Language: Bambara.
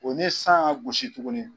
O ni san ye a gosi tuguni.